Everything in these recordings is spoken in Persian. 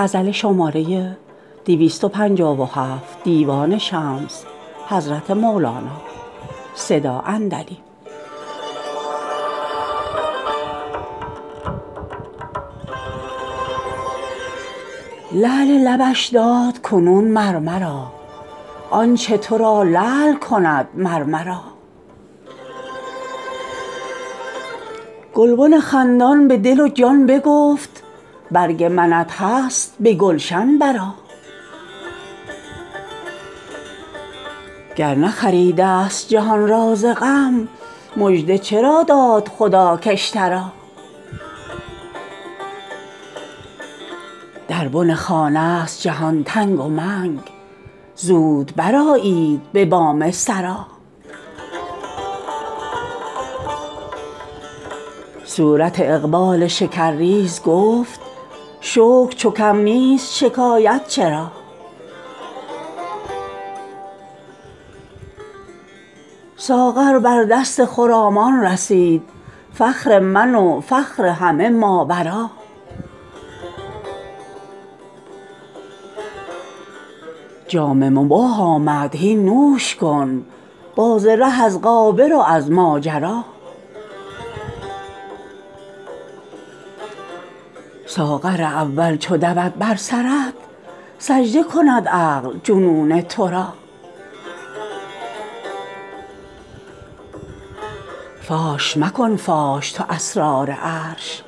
لعل لبش داد کنون مر مرا آنچ تو را لعل کند مر مرا گلبن خندان به دل و جان بگفت برگ منت هست به گلشن برآ گر نخریده ست جهان را ز غم مژده چرا داد خدا که اشتری در بن خانه ست جهان تنگ و منگ زود برآیید به بام سرا صورت اقبال شکرریز گفت شکر چو کم نیست شکایت چرا ساغر بر دست خرامان رسید فخر من و فخر همه ماورا جام مباح آمد هین نوش کن باز ره از غابر و از ماجرا ساغر اول چو دود بر سرت سجده کند عقل جنون تو را فاش مکن فاش تو اسرار عرش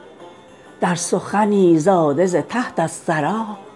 در سخنی زاده ز تحت الثری